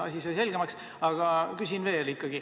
Asi sai selgemaks, aga küsin veel.